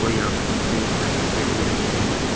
यहां पे कई तरह के पेड़ भी लगे हुए है।